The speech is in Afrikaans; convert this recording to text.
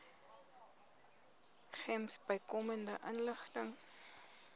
gems bykomende inligting